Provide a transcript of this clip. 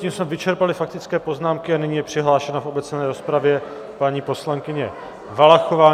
Tím jsme vyčerpali faktické poznámky a nyní je přihlášena v obecné rozpravě paní poslankyně Valachová.